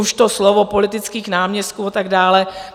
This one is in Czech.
Už to slovo politických náměstků a tak dále.